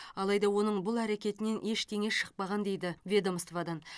алайда оның бұл әркетінен ештеңе шықпаған дейді ведомстводан